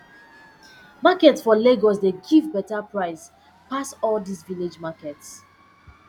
market for lagos dey give beta price pass all dis village markets